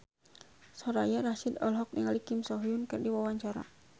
Soraya Rasyid olohok ningali Kim So Hyun keur diwawancara